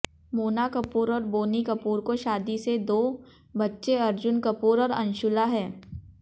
मोना कपूर और बोनी कपूर को शादी से दो बच्चे अर्जुन कपूर और अंशूला हैं